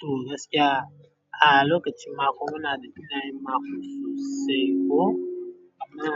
To gaskiya, a lokacin akwa wani abu muna da fiɗa yin makwaɗa sosai ko amma